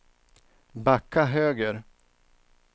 backa höger